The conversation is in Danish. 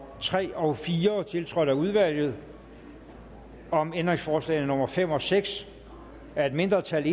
tre og fire tiltrådt af udvalget om ændringsforslagene nummer fem og seks af et mindretal